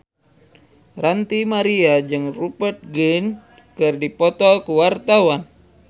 Ranty Maria jeung Rupert Grin keur dipoto ku wartawan